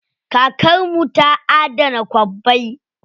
Kakar mu ta adana kwabbai.